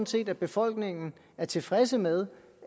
set at befolkningen er tilfreds med